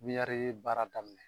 Miyari baara daminɛ